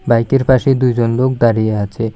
বাইকের পাশে দুইজন লোক দাঁড়িয়ে আছে।